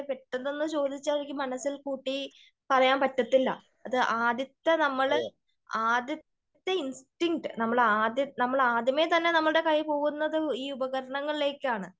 പെട്ടെന്ന് ഒന്ന് ചോദിച്ചാൽ എനിക്ക് മനസ്സിൽ കൂട്ടി പറയാൻ പറ്റത്തില്ല. അത് ആദ്യത്തെ നമ്മള് ആദ്യത്തെ ഇൻസ്റ്റീനകട നമ്മളെ ആദ്യത്തെ നമ്മളെ ആദ്യമേ തന്നെ നമ്മളുടെ കൈ പോകുന്നത് ഈ ഉപകാരണങ്ങളിലേക്കാണ് .